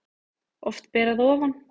Oft ber að ofan